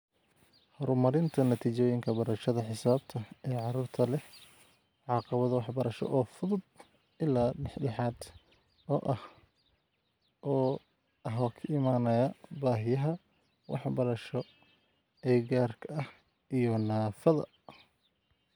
Horumarinta natiijooyinka barashada xisaabta ee carruurta leh caqabado waxbarasho oo fudud ilaa dhexdhexaad ah oo ka imanaya baahiyaha waxbarasho ee gaarka ah iyo naafada (SEND).